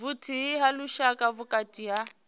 vhuthihi ha lushaka vhukati ha